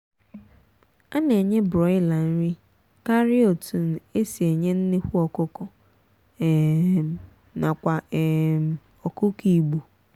a na-enye broiler nri karịa otunn e si enye nnekwu ọkụkọ um nakwa um ọkụkọ igbo.